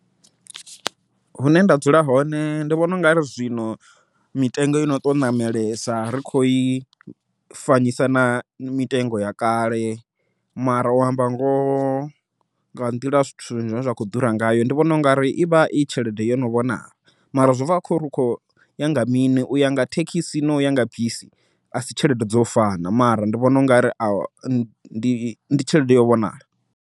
Hune nda dzula hone ndi vhona u ngari zwino mitengo yo no to ṋamelesa ri kho i fanyisa na mitengo ya kale. Mara u amba ngoho nga nḓila zwithu zwine zwa kho ḓura ngayo, ndi vhona ungari ivha i tshelede yo no vhonala, mara zwi bva kho ri khoya nga mini, uya nga thekhisi noya nga bisi a si tshelede dzo u fana, mara ndi vhona ungari a ndi tshelede yo vhonala.